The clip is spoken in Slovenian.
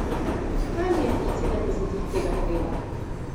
Kaj mi je pri sedemdesetih tega treba?